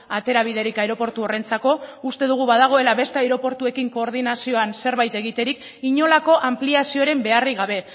aterabiderik aireportu horrentzako uste dugu badagoela beste aireportuekin koordinazioan zerbait egiterik inolako anpliazioaren beharrik gabe